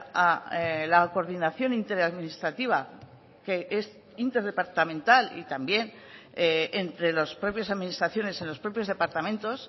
a la coordinación interadministrativa que es interdepartamental y también entre las propias administraciones en los propios departamentos